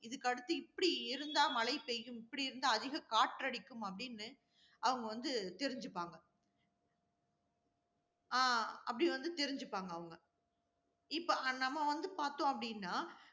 இதுக்கு அடுத்து இப்படி இருந்தா மழை பெய்யும், இப்படி இருந்தா அதிக காற்றடிக்கும், அப்படின்னு அவங்க வந்து தெரிஞ்சுப்பாங்க. ஆஹ் அப்படி வந்து தெரிஞ்சுப்பாங்க அவங்க இப்ப நம்ம வந்து பார்த்தோம் அப்படின்னா